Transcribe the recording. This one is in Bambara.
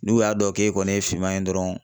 N'u y'a dɔn k'e kɔni ye fiman ye dɔrɔn